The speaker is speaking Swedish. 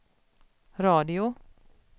radio